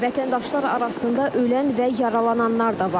Vətəndaşlar arasında ölən və yaralananlar da var.